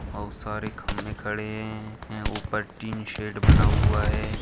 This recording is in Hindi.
बहुत सारे खंभे खड़े है ऊपर टिन शेट बना हुआ है।